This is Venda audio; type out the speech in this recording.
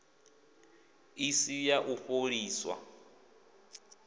i si ya u fholisa